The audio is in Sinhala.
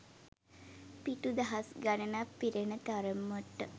පිටු දහස් ගණනක් පිරෙන තරමට